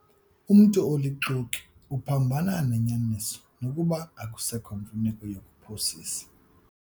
Umntu olixoki uphambana nenyaniso nokuba akusekho mfuneko yokuphosisa.